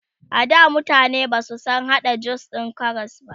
ada mutane Basu San hada jus din Karas ba